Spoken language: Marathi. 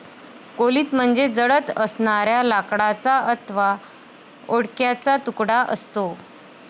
कोलीत म्हणजे जळत असणाऱ्या लाकडाचा अथवा ओंडक्याचा तुकडा असतो.